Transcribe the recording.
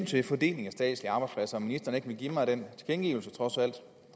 til fordelingen af statslige arbejdspladser vil ministeren ikke give mig den tilkendegivelse trods alt